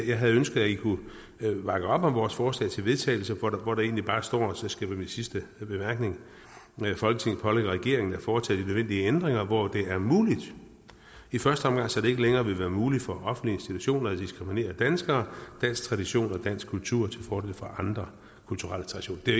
jeg havde ønsket i kunne bakke op om vores forslag til vedtagelse hvor der egentlig bare står og det skal være min sidste bemærkning folketinget pålægger regeringen at foretage de nødvendige ændringer hvor det er muligt i første omgang så det ikke længere vil være muligt for offentlige institutioner at diskriminere danskere dansk tradition og dansk kultur til fordel for andre kulturelle traditioner det